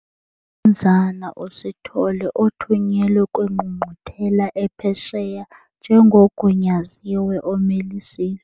UMnumzana uSithole othunyelwe kwingqungquthela ephesheya njengogunyaziwe omel' isizwe.